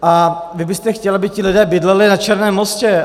A vy byste chtěl, aby ti lidé bydleli na Černém Mostě.